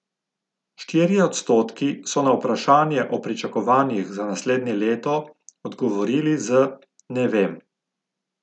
Štirje odstotki so na vprašanje o pričakovanjih za naslednje leto odgovorili z ne vem.